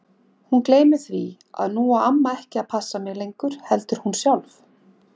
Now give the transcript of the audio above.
Hún gleymir því að nú á amma ekki að passa mig lengur heldur hún sjálf.